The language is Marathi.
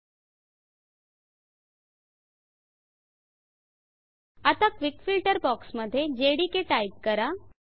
आता quick filter quick filter box मध्ये जेडीके टाइप करा